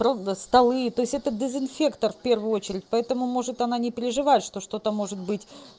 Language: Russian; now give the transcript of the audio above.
ровно столы то есть этот дезинфектор в первую очередь поэтому может она не переживает что что-то может быть